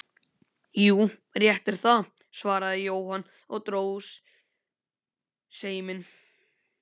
Jú, rétt er það, svaraði Jóhann og dró seiminn.